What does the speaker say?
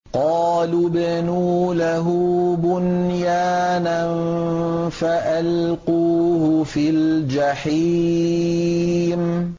قَالُوا ابْنُوا لَهُ بُنْيَانًا فَأَلْقُوهُ فِي الْجَحِيمِ